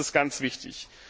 Das ist ganz wichtig.